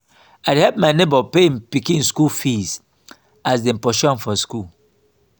i help my nebor pay im pikin skool fees as dem pursue am for skool.